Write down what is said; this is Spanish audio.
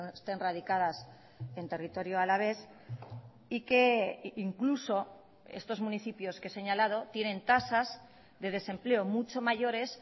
estén radicadas en territorio alavés y que incluso estos municipios que he señalado tienen tasas de desempleo mucho mayores